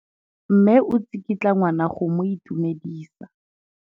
Mme o tsikitla ngwana go mo itumedisa.